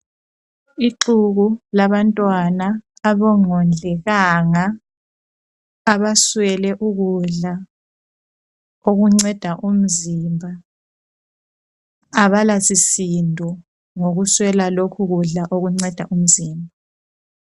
Ixuku labantwana abangondlekanga abaswele ukudla okunceda umzimba. Abalasisindo ngokuswela lokhu kudla okunceda umzimba.